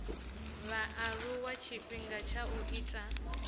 vhaaluwa tshifhinga tsha u ita